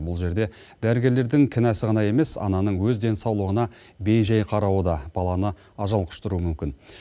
бұл жерде дәрігерлердің кінәсі ғана емес ананың өз денсаулығына бей жай қарауы да баланы ажал құштыруы мүмкін